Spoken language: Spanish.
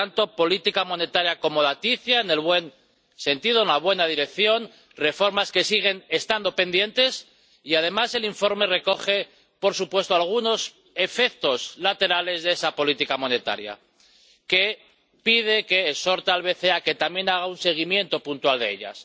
Por lo tanto, pedimos una política monetaria acomodaticia en el buen sentido, en la buena dirección, reformas que siguen estando pendientes. Y además, el informe recoge, por supuesto, algunos efectos laterales de esa política monetaria, por lo que exhorta al BCE a que también haga un seguimiento puntual de ellos.